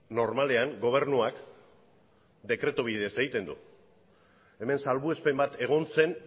normalean gobernuak dekretu bidez egiten du hemen salbuespen bat egon zen